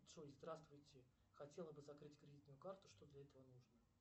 джой здравствуйте хотела бы закрыть кредитную карту что для этого нужно